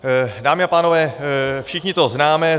Dámy a pánové, všichni to známe.